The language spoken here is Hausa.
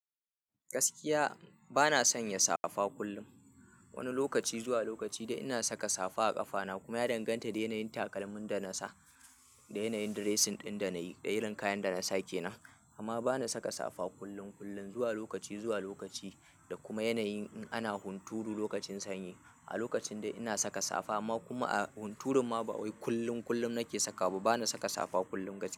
Gaskiya bana son ya safa kullum. Wani lokaci zuwa lokaci da ina saka safa a ƙafana kuma ya danganta da yanayin takalmin da nasa, da yanayin dressing ɗin da nayi, da irin kayan da nasa kenan. Amma bani saka safa kullum kullum zuwa lokaci zuwa lokaci da kuma yanayin in ana hunturu lokacin sanyi. A lokacin dai ina saka safa amma kuma a hunturun ma ba wai kullum kullum nake saka ba. Bana saka safa kullum kaciya.